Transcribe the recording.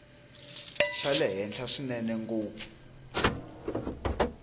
xa le henhla swinene ngopfu